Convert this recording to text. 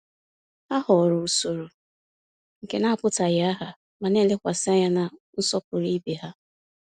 Ha họọrọ usoro nke na-apụtaghị aha, ma na-elekwasị anya na nsọpụrụ ibe ha.